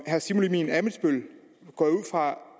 at herre simon emil ammitzbøll